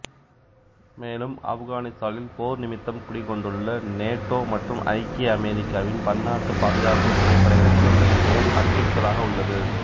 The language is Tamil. மேலும் ஆப்கானித்தானில் போர்நிமித்தம் குடிகொண்டுள்ள நேட்டோ மற்றும் ஐக்கிய அமெரிக்காவின் பன்னாட்டு பாதுகாப்பு துணைப்படைகளுக்கு மிகபெரும் அச்சுறுத்தலாக உள்ளது